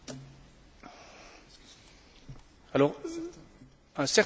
Un certain nombre d'États membres veulent diminuer le budget de l'année prochaine.